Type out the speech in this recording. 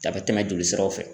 A bɛ tɛmɛ joli siraw fɛ